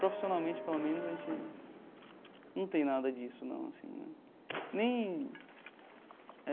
Profissionalmente, pelo menos, a gente não tem nada disso, não assim né nem.